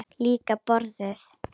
Líka borðið.